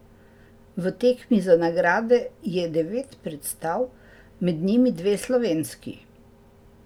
V tekmi za nagrade je devet predstav, med njimi dve slovenski.